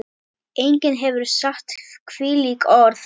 Enginn hefur sagt þvílík orð.